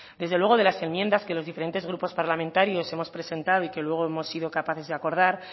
desde luego de las enmiendas que los diferentes grupos parlamentarios hemos presentado y que luego hemos ido capaces de acordar